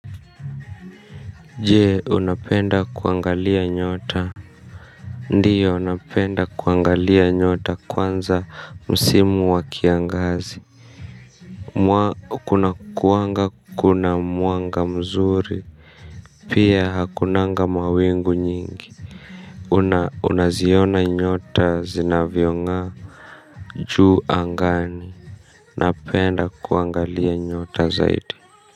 Je, unapenda kuangalia nyota. Ndiyo napenda kuangalia nyota kwanza msimu wa kiangazi. Mwa kuna kuanga kuna mwanga mzuri. Pia hakunanga mawingu nyingi una unaziona nyota zinavyong'aa. Juu angani napenda kuangalia nyota zaidi.